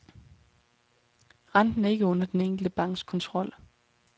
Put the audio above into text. Renten er ikke under den enkelte banks kontrol.